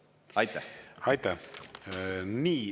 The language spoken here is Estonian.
Aitäh!